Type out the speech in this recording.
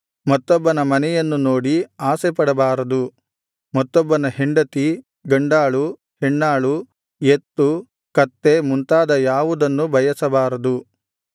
ಮತ್ತೊಬ್ಬನ ಮನೆಯನ್ನು ನೋಡಿ ಆಶೆಪಡಬಾರದು ಮತ್ತೊಬ್ಬನ ಹೆಂಡತಿ ಗಂಡಾಳು ಹೆಣ್ಣಾಳು ಎತ್ತು ಕತ್ತೆ ಮುಂತಾದ ಯಾವುದನ್ನೂ ಬಯಸಬಾರದು